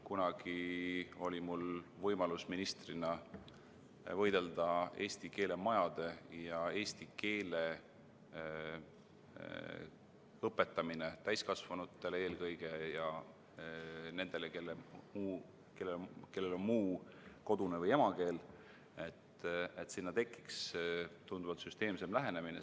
Kunagi oli mul võimalus ministrina võidelda eesti keele majade ja eesti keele õpetamise eest eelkõige täiskasvanutele ja nendele, kellel on muu kodune või emakeel, et tekiks tunduvalt süsteemsem lähenemine.